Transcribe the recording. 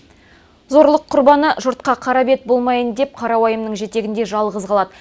зорлық құрбаны жұртқа қара бет болмайын деп қара уайымның жетегінде жалғыз қалады